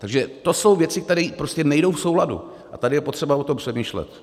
Takže to jsou věci, které prostě nejdou v souladu, a tady je potřeba o tom přemýšlet.